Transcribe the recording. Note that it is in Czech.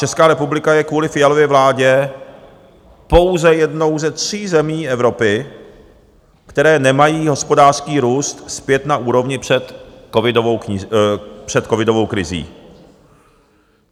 Česká republika je kvůli Fialově vládě pouze jednou ze tří zemí Evropy, které nemají hospodářský růst zpět na úrovni před covidovou krizí.